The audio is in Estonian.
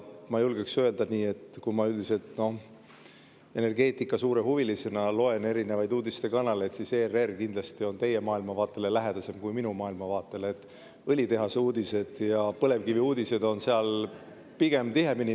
Ma suure energeetikahuvilisena loen erinevaid uudistekanaleid ja julgen öelda, et ERR kindlasti on teie maailmavaatele lähedasem kui minu maailmavaatele, õlitehaseuudised ja põlevkiviuudised on seal pigem tihemini.